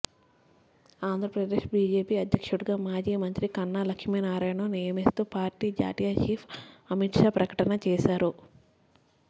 Andhra Pradesh BJP అధ్యక్షుడిగా మాజీ మంత్రి కన్నా లక్ష్మీనారాయణను నియమిస్తూ పార్టీ జాతీయ చీఫ్ అమిత్షా ప్రకటిన చేశారు